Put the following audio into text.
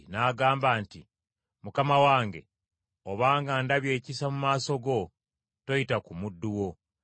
n’agamba nti, “Mukama wange obanga ndabye ekisa mu maaso go, toyita ku muddu wo.